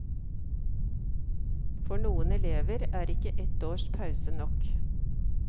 For noen elever er ikke ett års pause nok.